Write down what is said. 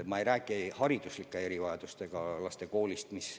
Ma ei räägi hariduslike erivajadustega lastest.